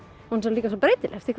líka svo breytileg eftir